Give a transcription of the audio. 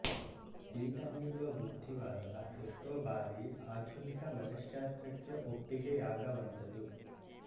ಈತ ನೀಡುವ ಬುದ್ಧಿವಾದ ಎಷ್ಟೋ ಬಾರಿ ಆಧುನಿಕ ಮನಶ್ಶಾಸ್ತ್ರಕ್ಕೆ ಒಪ್ಪಿಗೆಯಾಗವಂಥದು